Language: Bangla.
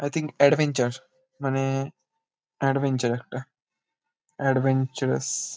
আই থিঙ্ক এডভেঞ্চার মানে এডভেঞ্চার একটা। এডভেঞ্চারাস --